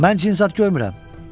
Mən cin zad görmürəm.